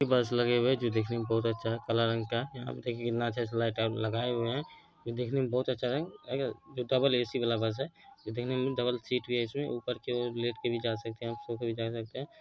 बस लगे हुए है जो देखने में बहुत अच्छा काला रंग का और देखिए कितना अच्छा से लाइट और लगाए हुए हैं ये देखने में बहुत अच्छा रंग अगर डबल ए_सी वाला बस है ये देखने में डबल सीट भी है इसमें ऊपर की ओर लेट कर भी जा सकते हैं सो कर भी जा सकते हैं।